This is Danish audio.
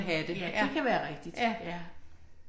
Ja det kan være rigtigt, ja